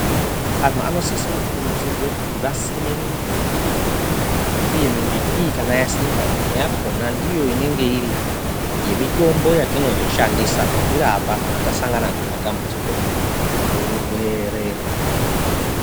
Antu vanosise kukurudzirwa kuti vasime mimbiti uye kana mbiti iyi kana yasimwa imweyakona ndiyo inenge iri yemitombo yetinooshandisa kuzvirapa kana tasangana nematambudziko owurwere.